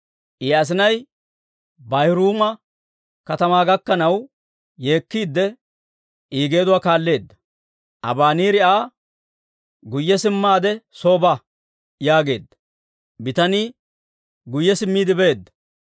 I asinay Baahuriima katamaa gakkanaw yeekkiide I geeduwaa kaalleedda; Abaneeri Aa, «Guyye simmaade soo ba» yaageedda; bitanii guyye simmiide beedda.